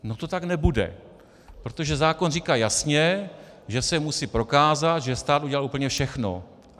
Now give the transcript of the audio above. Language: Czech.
No to tak nebude, protože zákon říká jasně, že se musí prokázat, že stát udělal úplně všechno.